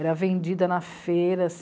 Era vendida na feiras.